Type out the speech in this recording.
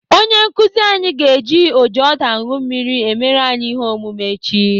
Onye nkụzi anyị ga-eji ojiọdụanụmmiri emere anyị ihe omume echi.